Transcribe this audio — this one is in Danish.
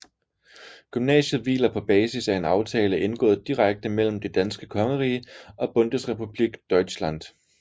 Gymnasiet hviler på basis af en aftale indgået direkte mellem Det danske Kongerige og Bundesrepublik Deutschland